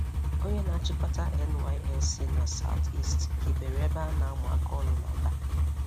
Onye n'achịkọta NYSC na South-East hibere ebe a n'amụ aka ọrụ n' Aba.